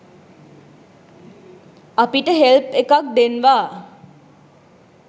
අපිට හෙල්ප් එකක් දෙන්වා